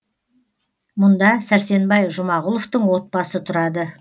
мұнда сәрсенбай жұмағұловтың отбасы тұрады